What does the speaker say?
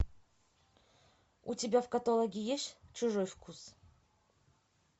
у тебя в каталоге есть чужой вкус